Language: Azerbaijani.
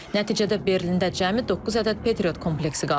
Nəticədə Berlində cəmi doqquz ədəd Patriot kompleksi qalıb.